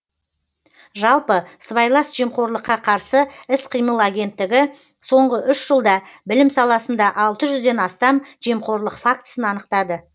жалпы сыбайлас жемқорлыққа қарсы іс қимыл агенттігі соңғы үш жылда білім саласында алты жүзден астам жемқорлық фактісін анықтады